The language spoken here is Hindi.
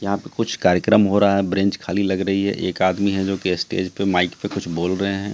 यहां पे कुछ कार्यक्रम हो रहा है। ब्रेच खाली लग रही है एक आदमी है जो कि स्टेज पे माइक पर कुछ बोल रहे हैं।